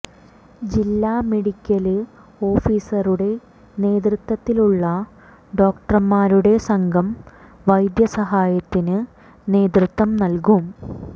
ജില്ലാ മെഡിക്കല് ഓഫീസറുടെ നേതൃത്വത്തിലുള്ള ഡോക്ടര്മാരുടെ സംഘം വൈദ്യ സഹായത്തിന് നേതൃത്വം നല്കും